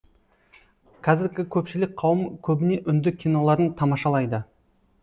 қазіргі көпшілік қауым көбіне үнді киноларын тамашалайды